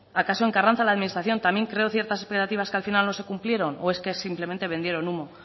acaso en carranza la administración también creo ciertas operativas que al final no se cumplieron o es que simplemente vendieron humo